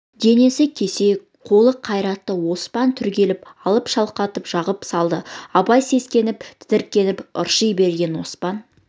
денесі кесек қолы қайратты оспан түрегеліп алып шалқалата жығып салды абай сескеніп тітіркеніп ырши берген оспан